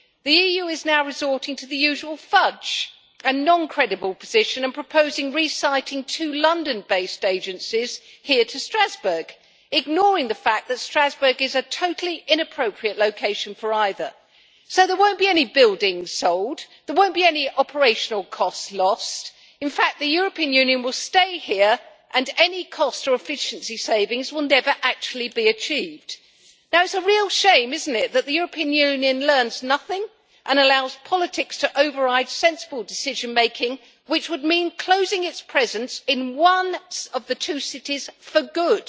The EU is now resorting to the usual fudge and non credible position, and proposing re siting two London based agencies here in Strasbourg, ignoring the fact that Strasbourg is a totally inappropriate location for either, so there will not be any buildings sold, there will not be any operational costs eliminated. In fact, the European Union will stay here, and any cost or efficiency savings will never actually be achieved. It is a real shame, isn't it, that the European Union learns nothing, and allows politics to override sensible decision making, which would mean closing its presence in one of the two cities for good.